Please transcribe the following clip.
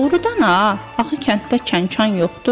Doğrudan ha, axı kənddə kənkan yoxdur.